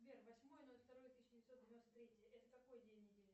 сбер восьмое ноль второе тысяча девятьсот девяносто третье это какой день недели